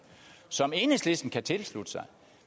som enhedslisten kan tilslutte sig